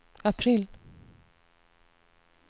april